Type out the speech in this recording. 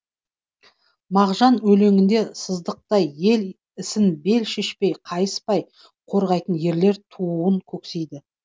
мағжан өлеңінде сыздықтай ел ісін бел шешпей қайыспай қорғайтын ерлер тууын көксейді